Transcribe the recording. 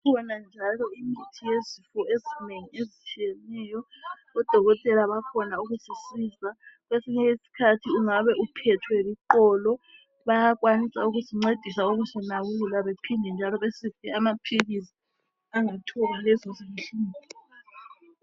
Sibona njalo imithi yezifo ezinengi ezitshiyeneyo odokotela bakhona ukusisiza kwesinye isikhathi ungabe uphethwe liqolo bayakwanisa ukusincedisa ukusinakekela bephinde njalo besinike amaphilisi angathoba lezi zinhlungu